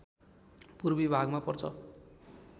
पूर्वी भागमा पर्छ